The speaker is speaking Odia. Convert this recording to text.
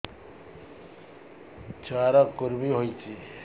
ଛୁଆ ର କୁରୁମି ହୋଇଛି